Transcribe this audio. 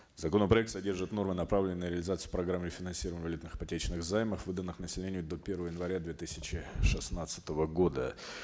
законопроект содержит нормы направленные на реализацию программ и финансирование валютных ипотечных займов выданных населению до первого января две тысяча шестнадцатого года